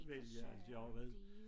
Vælge altså jeg har jo været